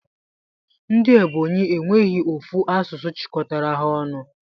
Ndi ebonyi enweghi ofu asụsụ chikọtara ha ọnụ.